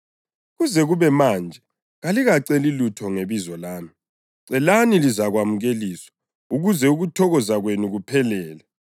Kuze kube manje kalikaceli lutho ngebizo lami. Celani, lizakwamukeliswa, ukuze ukuthokoza kwenu kuphelele.